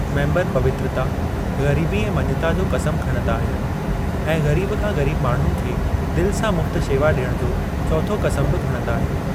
Member पवित्रता, गरीबी ऐं मञता जो क़सम खणंदा आहिनि ऐं ग़रीब खां ग़रीब माण्हुनि खे दिलि सां मुफ़्त शेवा ॾियण जो चोथों क़सम बि खणंदा आहिनि।